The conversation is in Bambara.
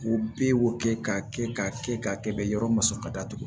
U b'e wo kɛ ka kɛ ka kɛ ka kɛ yɔrɔ masɔrɔ ka datugu